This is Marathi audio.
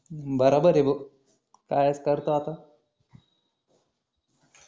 बरोबर आहे भाऊ काय करतो आता